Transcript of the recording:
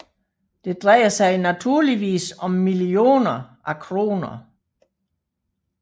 Det drejer sig naturligvis om millioner af kroner